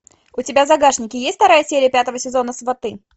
у тебя в загашнике есть вторая серия пятого сезона сваты